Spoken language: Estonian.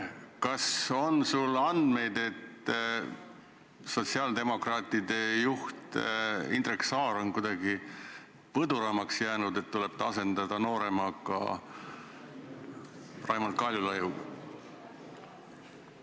Kas on sul andmeid, et sotsiaaldemokraatide juht Indrek Saar on kuidagi põduramaks jäänud ja ta tuleb asendada noorema mehe, Raimond Kaljulaidiga?